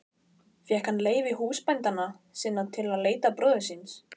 Fékk hann leyfi húsbænda sinna til að leita bróður síns.